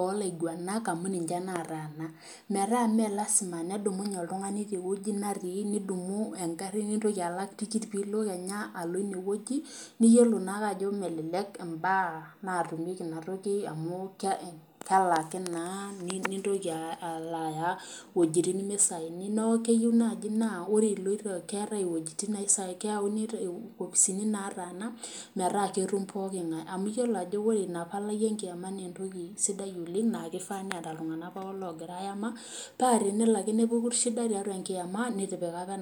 olaiguanak amu ninche nataasa ,metaa mee lasima nedumunye oltungani teweji netii nidumunye nintoki alak tikitam pee intoki kenya alo ineweji niyiolo naake ajo melelek imbaa natumieki inatoki amu kelaki naa nintoki alo aya wejitin mesighni neeku keyieu naaji naa keyauni inkopisini nataasa metaa ketum pooki ngae amu yiolo ina palai enkiama naa entoki sidai oleng naa kifaa neeta iltunganak pookin logira ayama. paa tenelo ake nepuku shida tiatua enkiama nitipika apa